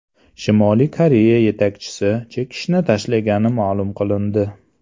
Shimoliy Koreya yetakchisi chekishni tashlagani ma’lum qilindi.